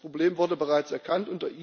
Das Problem wurde bereits erkannt.